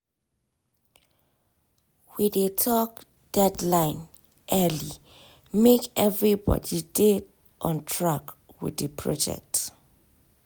we dey talk deadline early make everybody dey on track with the project.